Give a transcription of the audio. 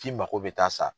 K'i mako bɛ taa sa